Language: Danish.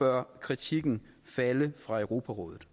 bør kritikken falde fra europarådet